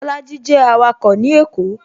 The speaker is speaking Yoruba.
Bolaji jẹ awako ní èkó